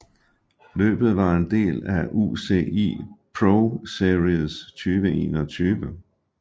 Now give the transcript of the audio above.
Løbet var en del af UCI ProSeries 2021